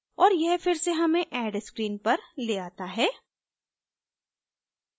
और यह फिर से हमें add screen पर ले आता है